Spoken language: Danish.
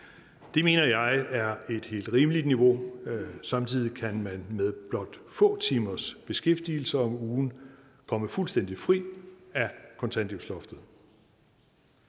det mener jeg er et helt rimeligt niveau samtidig kan man med blot få timers beskæftigelse om ugen komme fuldstændig fri af kontanthjælpsloftet